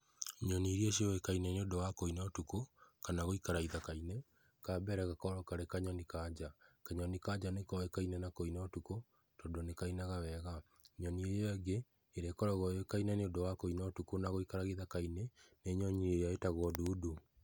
Nyoni iria ciuĩkaine nĩũndũ wa kũina utũkũ, kana gũikara ithaka-inĩ kambere gakoragwo karĩ kanyoni kaa nja, kanyoni ka nja nĩkoĩkaine na kũina ũtukũ tondũ nĩkainaga wega, nyoni ĩyo ĩngĩ ĩrĩa ĩkoragwo yuĩkaine nĩũndũ wa kũina ũtũkũ na gũikara gĩthaka-inĩ nĩ nyoni ĩrĩa ĩtagwo ndundu.